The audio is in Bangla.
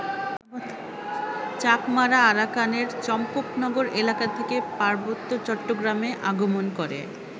চাকমারা আরাকানের চম্পকনগর এলাকা থেকে পার্বত্য চট্টগ্রামে আগমন করে।